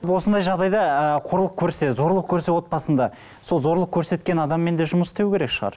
осындай жағдайда ы қорлық көрсе зорлық көрсе отбасында сол зорлық көрсеткен адаммен де жұмыс істеу керек шығар